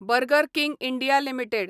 burger King India limited